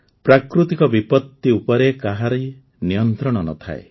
ପ୍ରାକୃତିକ ବିପତ୍ତି ଉପରେ କାହାରି ନିୟନ୍ତ୍ରଣ ନ ଥାଏ